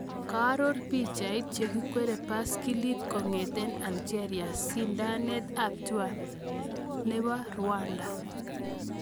kearor pichait, chekwerie baiskilit kong'etee Algeria sindanet ab Tour du Rwanda